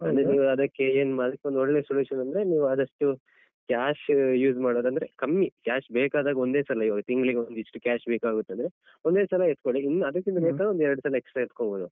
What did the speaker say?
ಅಂದ್ರೆ ನೀವು ಅದಕ್ಕೆ ಏನ್ ಮಾಡ್ಬೇಕು ಒಂದು ಒಳ್ಳೆ solution ಅಂದ್ರೆ ನೀವು ಆದಷ್ಟು cash use ಮಾಡೋದಂದ್ರೆ ಕಮ್ಮಿ cash ಬೇಕಾದಾಗ ಒಂದೇ ಸಲ ಈವಾಗ ತಿಂಗ್ಳಿಗೊಂದಿಸ್ಟು cash ಬೇಕಾಗುತ್ತದೆ ಒಂದೇ ಸಲ ಎತ್ಕೋಳಿ ಇನ್ನ್ ಅದಕ್ಕಿಂತ ಬೇಕಾದ್ರೆ ಒಂದ್ ಎರಡ್ಸಲ extra ಎತ್ಕೋಬೋದು.